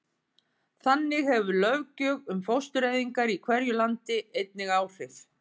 Þannig hefur löggjöf um fóstureyðingar í hverju landi einnig áhrif.